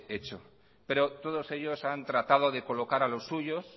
hecho pero todos ellos han tratado de colocar a los suyos